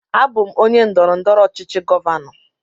Abụ m onye ndọrọndọrọ ọchịchị govano.